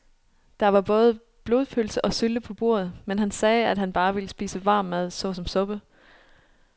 Der var både blodpølse og sylte på bordet, men han sagde, at han bare ville spise varm mad såsom suppe.